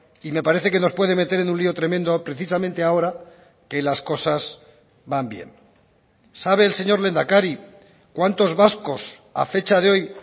y me parece que nos puede meter en un lio tremendo precisamente ahora que las cosas van bien sabe el señor lehendakari cuantos vascos a fecha de hoy